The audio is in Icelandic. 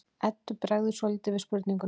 Eddu bregður svolítið við spurninguna.